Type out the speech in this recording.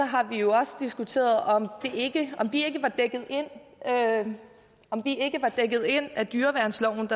har vi jo også diskuteret om vi ikke var dækket ind af dyreværnsloven